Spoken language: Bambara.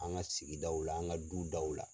An ka sigi daw la an ka du daw la.